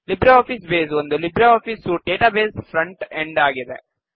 Libre Office Base ಒಂದು Libre Office suite ನ database front end ಆಗಿದೆ